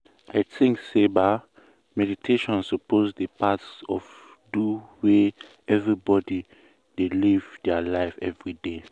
i thinks say ba meditation suppose dey part of do way everbody dey live dia life everyday.